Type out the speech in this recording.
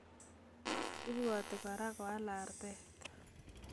Ibwoti kora koal artet